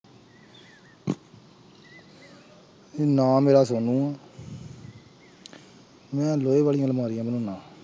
ਨਾਂ ਮੇਰਾ ਸੋਨੂੰ ਆ ਮੈਂ ਲੋਹੇ ਵਾਲੀਆਂ ਅਲਮਾਰੀਆਂ ਬਣਾਉਨਾ।